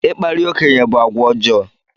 Ịkparị okenye gị bụ àgwà ọjọọ.